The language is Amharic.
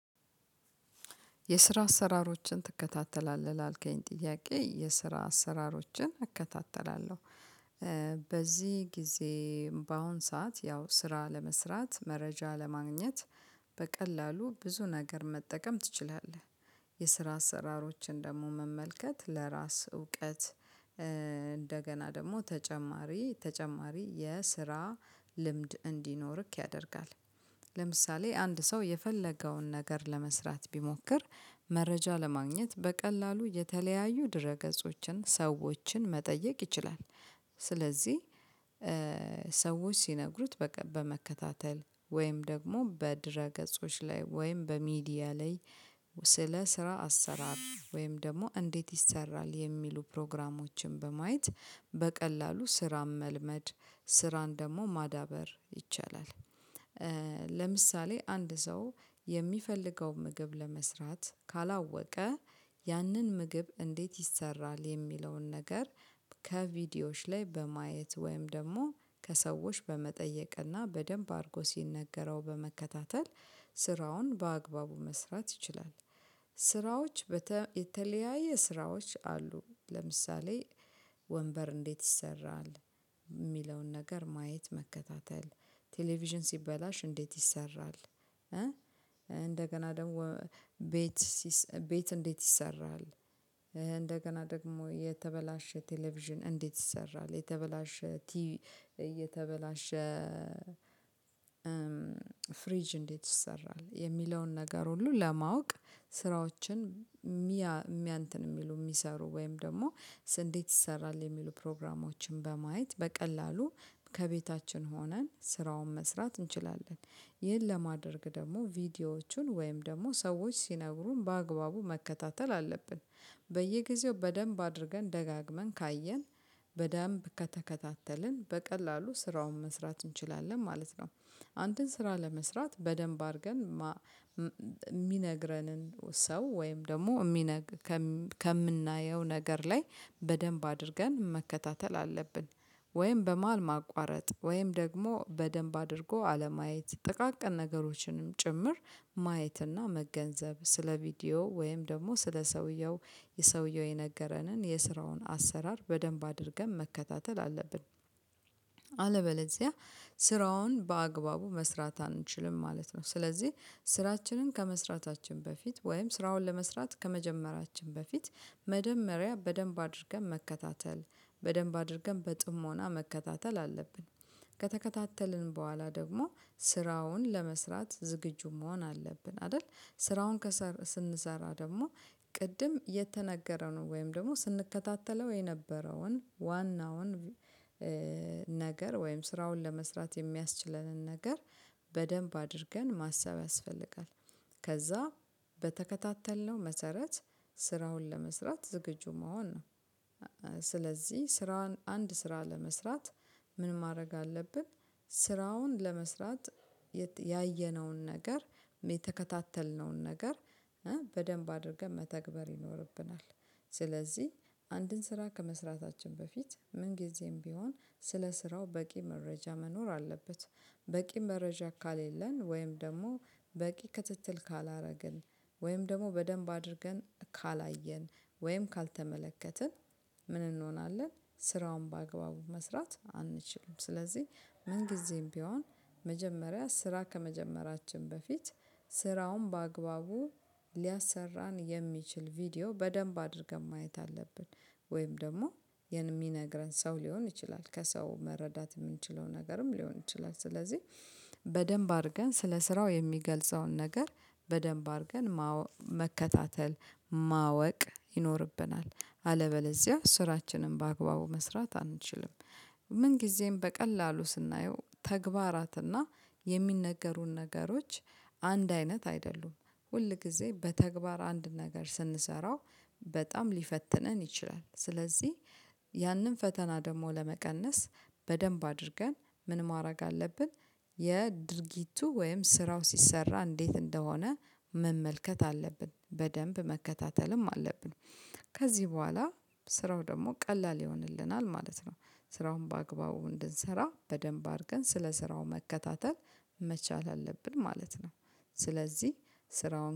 የስራ አሰራሮችን ትከታተላለህ ላልከኝ ጥያቄ የስራ አሰራሮችን እከታተላለሁ። በዚህ ጊዜ በአሁን ሰዓት ያው ስራ ለመስራት መረጃ ለማግኘት በቀላሉ ብዙ ነገር መጠቀም ትችላለህ። የስራ አሰራሮችን ደግሞ መመልከት ለራስ እውቀት እንደገና ደግሞ ተጨማሪ ተጨማሪ የስራ ልምድ እንዲኖርክ ያደርጋል። ለምሳሌ አንድ ሰው የፈለገውን ነገር ለመስራት ቢሞክር መረጃ ለማግኘት በቀላሉ የተለያዩ ድረ ገጾችን ሰዎችን መጠየቅ ይችላል። ስለዚህ ሰዎች ሲነግሩት በመከታተል ወይም ደግሞ በድረ ገጾች ላይ ወይም በሚዲያ ላይ። ስለ ስራ አሰራር ወይም ደግሞ እንዴት ይሰራል የሚሉ ፕሮግራሞችን በማየት በቀላሉ ስራም መልመድ ስራን ደግሞ ማዳበር ይቻላል። ለምሳሌ አንድ ሰው የሚፈልገው ምግብ ለመስራት ካላወቀ። ያንን ምግብ እንዴት ይሰራል የሚለውን ነገር? ከቪዲዮዎች ላይ በማየት ወይም ደግሞ ከሰዎች በመጠየቅና በደንብ አድርጎ ሲነገረው በመከታተል ስራውን በአግባቡ መስራት ይችላል። ስራዎች የተለያየ ስራዎች አሉ። ለምሳሌ ወንበር እንዴት ይሰራል? የሚለውን ነገር ማየት መከታተል። ቴሌቪዥን ሲበላሽ እንዴት ይሰራል? እንደገና ደግሞ ቤት ቤት እንዴት ይሰራል? እንደገና ደግሞ የተበላሸ ቴሌቪዥን እንዴት ይሰራል የተበላሸ ቲቪ። እየተበላሸ። ፍሪጅ እንዴት ይሰራል የሚለውን ነገር ሁሉ ለማወቅ? ስራዎችን የሚያውቁ የሚሰሩ ወይም ደግሞ እንዴት ይሰራል የሚሉ ፕሮግራሞችን በማየት በቀላሉ ከቤታችን ሆነን ስራውን መስራት እንችላለን። ይህን ለማድረግ ደግሞ ቪዲዮዎቹን ወይም ደግሞ ሰዎች ሲነግሩን በአግባቡ መከታተል አለብን። በየጊዜው በደንብ አድርገን ደጋግመን ካየን በደንብ ከተከታተልን በቀላሉ ስራውን መስራት እንችላለን ማለት ነው። አንድን ስራ ለመስራት በደንብ አድርገን የሚነግረንን ሰው ወይም ደግሞ ከምናየው ነገር ላይ በደንብ አድርገን መከታተል አለብን። ወይም በመሃል ማቋረጥ ወይም ደግሞ በደንብ አድርጎ አለማየት ጥቃቅን ነገሮችንም ጭምር ማየትና መገንዘብ ስለ ቪዲዮ ወይም ደግሞ ስለ ሰውየው የሰውየው የነገረንን የስራውን አሰራር በደንብ አድርገን መከታተል አለብን። አለበለዚያ ስራውን በአግባቡ መስራት አንችልም ማለት ነው። ስለዚህ ስራችንን ከመስራታችን በፊት ወይም ስራውን ለመስራት ከመጀመራችን በፊት መጀመሪያ በደንብ አድርገን መከታተል በደንብ አድርገን በጥሞና መከታተል አለብን። ከተከታተልን በኋላ ደግሞ ስራውን ለመስራት ዝግጁ መሆን አለብን አይደል? ስራውን ስንሰራ ደግሞ ቅድም የተነገረንን ወይም ደግሞ ስንከታተለው የነበረውን ዋናውን ነገር ወይም ስራውን ለመስራት የሚያስችለንን ነገር በደንብ አድርገን ማሰብ ያስፈልጋል። ከዛ በተከታተልነው መሰረት ስራውን ለመስራት ዝግጁ መሆን ነው። ስለዚህ ስራን አንድ ስራ ለመስራት ምን ማድረግ አለብን? ስራውን ለመስራት ያየነውን ነገር የተከታተልነውን ነገር በደንብ አድርገን መተግበር ይኖርብናል። ስለዚህ አንድን ስራ ከመስራታችን በፊት ምን ጊዜም ቢሆን ስለ ስራው በቂ መረጃ መኖር አለበት። በቂ መረጃ ካሌለን ወይም ደግሞ በቂ ክትትል ካላደረግን ወይም ደግሞ በደንብ አድርገን ካላየን ወይም ካልተመለከትን። ምን እንሆናለን ስራውን በአግባቡ መስራት አንችልም። ስለዚህ ምን ጊዜም ቢሆን መጀመሪያ ስራ ከመጀመራችን በፊት ስራውን በአግባቡ ሊያሰራን የሚችል ቪዲዮ በደንብ አድርገን ማየት አለብን። ወይም ደግሞ የሚነግረን ሰው ሊሆን ይችላል ከሰው መረዳት የምንችለው ነገርም ሊሆን ይችላል። ስለዚህ በደንብ አድርገን ስለ ስራው የሚገልጸውን ነገር በደንብ አድርገን መከታተል ማወቅ ይኖርብናል። አለበለዚያ ስራችንን በአግባቡ መስራት አንችልም። ምን ጊዜም በቀላሉ ስናየው ተግባራትና የሚነገሩን ነገሮች አንድ አይነት አይደሉም። ሁል ጊዜ በተግባር አንድ ነገር ስንሰራው በጣም ሊፈትነን ይችላል። ስለዚህ ያንን ፈተና ደግሞ ለመቀነስ በደንብ አድርገን ምን ማድረግ አለብን? የድርጊቱ ወይም ስራው ሲሰራ እንዴት እንደሆነ መመልከት አለብን በደንብ መከታተልም አለብን። ከዚህ በኋላ ስራው ደግሞ ቀላል ይሆንልናል ማለት ነው። ስራውን በአግባቡ እንድንሰራ በደንብ አድርገን ስለ ስራው መከታተል መቻል አለብን ማለት ነው። ስለዚህ ስራውን